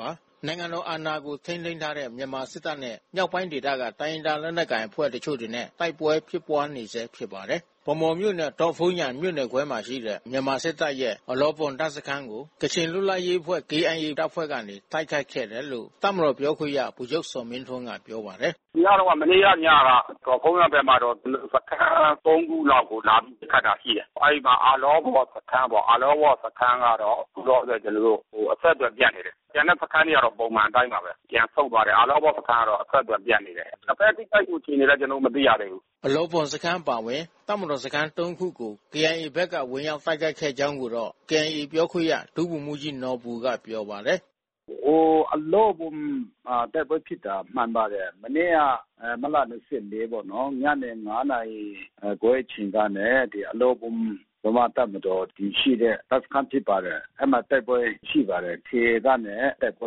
ပါတယ်။ နိုင်ငံတော်အာဏာကို ထိန်းသိမ်းထားတဲ့ မြန်မာစစ်တပ်နဲ့ မြောက်ပိုင်းဒေသက တိုင်းရင်းသားလက်နက်ကိုင်အဖွဲ့ တချို့တွေနဲ့ တိုက်ပွဲဖြစ်ပွါးနေဆဲဖြစ်ပါတယ်။ ဗန်းမော်မြို့နယ် ဒေါ့ဖုန်းယန်မြို့နယ်ခွဲမှာ ရှိတဲ့ မြန်မာစစ်တပ်ရဲ့အလောဘွမ် တပ်စခန်းကို ကချင်လွတ်လပ်ရေးအဖွဲ့ KIA တပ်ဖွဲ့ကနေ တိုက်ခိုက်ခဲ့တယ်လို့ တပ်မတော်ပြောခွင့်ရဗိုလ်ချုပ်ဇော်မင်းထွန်းကပြောပါတယ်။ “ညတုန်းက မနေ့က ညက ဒေါ့ဖုန်းယန်ဘက်မှာတော့ ကျနော်တို့ စခန်း ၃ ခုလောက်ကိုလာပြီး ပစ်ခတ်တာ ရှိတယ်။ အဲဒီမှာ အလောဘွမ်စခန်းပေါ့။ အလောဘွမ်စခန်းကတော့ အခုတော့ ကျနော်တို့ အဆက်သွယ်ပြတ်နေတယ်။ ကျန်တဲ့စခန်းတွေက ပုံမှန်အတိုင်းပါပဲ။ ပြန်ဆုတ်သွားတယ်။ အလောဘွမ်စခန်းကတော့ အဆက်သွယ်ပြတ်နေတယ်။ နှစ်ဘက်ထိခိုက်မှုအခြေအနေတော့ ကျနော်တို့ မသိရသေးဘူး။” အလောဘွမ်စခန်းအပါဝင် တပ်မတော်စခန်းစခန်း ၃ ခုကို KIA ဘက်က ဝင်ရောက်တိုက်ခိုက်ခဲ့ကြောင်းကိုတော့ KIA ပြောခွင့်ရ ဒုဗိုလ်မှူးကြီးနော်ဘူကပြောပါတယ်။ “ဟို အလောဘွမ်မှာ တိုက်ပွဲဖြစ်တာ မှန်ပါတယ်။ မနေ့က မတ်လ ၂၄ ပေါ့နော်။ ညနေ ၅ နာရီခွဲအချိန်ကနဲ့ ဒီအလောဘွမ် ဗမာတပ်မတော်တည်ရှိတဲ့ တပ်စခန်းဖြစ်ပါတယ်။ အဲဒီမှာတိုက်ပွဲရှိပါတယ်။ KIA တပ်နဲ့ တိုက်ပွဲ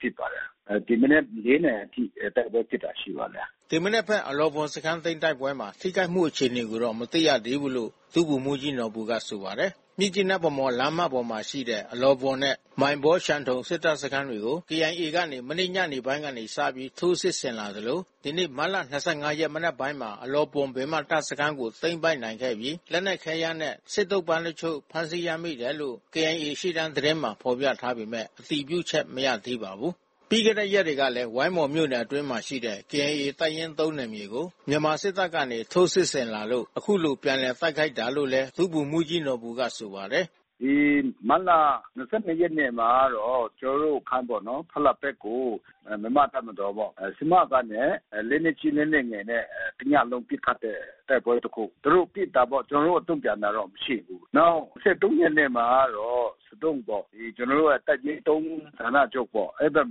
ဖြစ်ပါတယ်။ ဒီမနက် ၄ နာရီထိ တိုက်ပွဲဖြစ်တာရှိပါတယ်။” ဒီမနက်ဘက် အလောဘွမ်စခန်းသိမ်းတိုက်ပွဲမှာ ထိခိုက်မှုအခြေအနေကိုတော့ မသိရသေးဘူးလို့ ဒုဗိုလ်မှူးကြီး နော်ဘူက ဆိုပါတယ်။ မြစ်ကြီးနား-ဗန်းမော် လမ်းမပေါ်ရှိ အလောဘွမ်နဲ့ မိုင်ဘောဝ် ရှန်ထုန်စစ်တပ်စခန်းတွေကို KIA ကနေ မနေ့ညနေပိုင်းက စပြီး ထိုးစစ်ဆင်ခဲ့သလို ဒီနေ့မတ်လ ၂၅ ရက်မနက်ပိုင်းမှာ အလောဘွမ်ပင်မ တပ်စခန်းကို သိမ်းပိုက်နိုင်ခဲ့ပြီး လက်နက် ခဲယမ်းနဲ့ စစ်သုံ့ပန်း တချို့ဖမ်းဆီးရမိတယ်လို့ KIA ရှေ့တန်းသတင်းမှာ ဖော်ပြထားပေမဲ့ အတည်ပြုချက်မရသေးပါဘူး။ ပြီးခဲ့တဲ့ရက်တွေက ဝိုင်းမော်မြို့နယ်အတွင်းရှိ KIA တပ်ရင်း ၃ နယ်မြေကို မြန်မာစစ်တပ်ကနေ ထိုးစစ်ဆင်လာလို့ အခုလိုပြန်တိုက်ခိုက်တာလို့လည်း ဒုဗိုလ်မှူးကြီး နော်ဘူကဆိုပါတယ်။ “ဒီမတ်လ ၂၂ ရက်နေ့မှာကတော့ ကျနော်တို့ စခန်းပေါ့နော်။ ဖလပ်ဘဲကို မြန်မာ့တပ်မတော်ပေါ့ ဆမကနဲ့ လက်နက်ကြီးလက်နက်ငယ်နဲ့ တညလုံးပစ်ခတ်တဲ့တိုက်ပွဲတခု။ သူတို့ ပစ်တာပေါ့။ ကျနော်တို့ တုံ့ပြန်တာတော့ မရှိဘူး။ နောက် ၂၃ ရက်နေ့မှာကတော့ ဆဒုံးပေါ့ ကျနော်တို့ တပ်ရင်း ၃ ဌာနချုပ်ပေါ့။ အဲဒီဘက်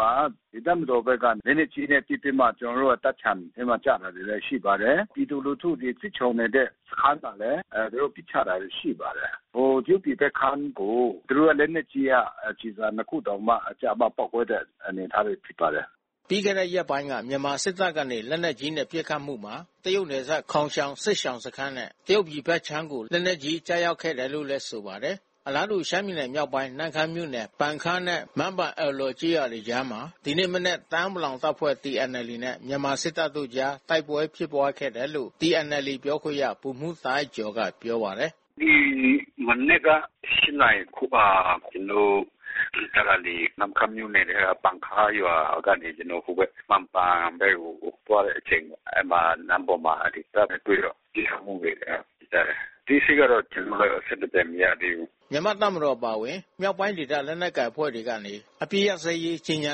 မှာ တပ်မတော်ဘက်က လက်နက်ကြီးနဲ့ ပစ်ပြီးမှ ကျနော်တို့ရဲ့ တပ်ခြံထဲမှာ ကျတာလည်း ရှိပါတယ်။ ပြည်သူလူထုတွေ စစ်ရှောင်နေတဲ့ စခန်းမှာလည်း သူတို့ပစ်ချတာရှိပါတယ်။ တရုတ်ပြည်ဘက်ခြမ်းကို သူတို့ရဲ့လက်နက်ကြီးက ကျည်ဆံနှစ်ခုတောင်မှ ကျပေါက်ကွဲတဲ့ အနေအထားတွေ ရှိပါတယ်။” ပြီးခဲ့တဲ့ရက်ပိုင်းက မြန်မာစစ်တပ်ကနေ လက်နက်ကြီးနဲ့ ပစ်ခတ်မှုမှာ တရုတ်နယ်စပ်ခေါင်ရှောင်စစ်ရှောင်စခန်းနဲ့ တရုတ်ပြည်ဘက်ခြမ်းကို လက်နက်ကြီးကျခဲ့တယ်လို့လည်း ဆိုပါတယ်။ အလားတူ ရှမ်းပြည်နယ်မြောက်ပိုင်း နမ့်ခမ်းမြို့နယ် ပန်ခါးနဲ့ မန်းပန်အွယ်လောကျေးရွာကြားမှာ ဒီနေ့မနက် တအာင်း ပလောင်တပ်ဖွဲ့(TNLA)နဲ့ မြန်မာစစ်တပ်တို့အကြား တိုက်ပွဲဖြစ်ပွါးခဲ့တယ်လို့ TNLA ပြောခွင့်ရ ဗိုလ်မှူးတာအိုက်ကျော် ကပြောပါတယ်။ “ဒီမနက်က ၈ နာရီခွဲမှာ ကျနော်တို့ စစ်တပ်ကနေ နမ့်ခမ်းမြို့နယ်ထဲက ပန်ခါးရွာကနေ ကျနော်တို့ ဟိုဘက် မန်းပန်ဘက်ကိုသွားတဲ့အချိန်ပေါ့။ အဲဒီမှာ လမ်းပေါ်မှာ တပ်နဲ့ တွေ့တော့ ပစ်ခတ်မှုဖြစ်ကြတယ်။ အသေးစိတ်တော့ ကျနော်တို့လည်း အဆက်အသွယ်မရသေးဘူး။” မြန်မာ့တပ်မတော်အပါအဝင် မြောက်ပိုင်းဒေသ လက်နက်ကိုင်အဖွဲ့တွေကနေ အပစ်ရပ်စဲရေးကြေညာ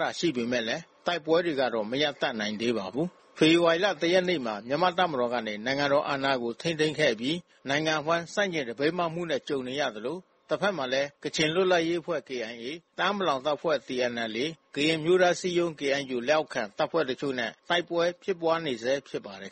တာရှိခဲ့ပေမဲ့ တိုက်ပွဲတွေတော့ မရပ်တန့်နိုင်သေးပါဘူး။ ဖေဖော်ဝါရီ ၁ ရက်နေ့မှာ မြန်မာတပ်မတော်ကနေ နိုင်ငံတော်အာဏာကို ထိန်းသိမ်းခဲ့အပြီး နိုင်ငံတဝှမ်းဆန့်ကျင် သပိတ်မှောက်မှုနဲ့ ကြုံနေရသလို တဘက်မှာလည်း ကချင်လွတ်လပ်ရေးအဖွဲ့ KIA၊ တအာင်းပလောင်တပ်ဖွဲ့ TNLA၊ ကရင်အမျိုးသားအစည်းအရုံး KNU လက်အောက်ခံ တပ်ဖွဲ့တချို့နဲ့ တိုက်ပွဲဖြစ်ပွါးနေဆဲဖြစ်ပါတယ်